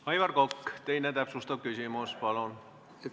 Aivar Kokk, teine täpsustav küsimus, palun!